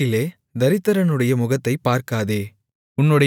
வழக்கிலே தரித்திரனுடைய முகத்தைப் பார்க்காதே